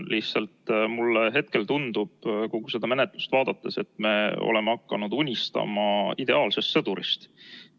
Lihtsalt mulle hetkel tundub kogu seda menetlust vaadates, et me oleme hakanud unistama ideaalsest sõdurist.